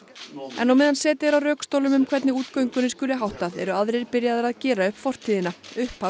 en á meðan setið er á rökstólum um hvernig útgöngunni skuli háttað eru aðrir byrjaðir að gera upp fortíðina upphaf